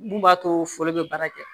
Mun b'a to foli be baara kɛ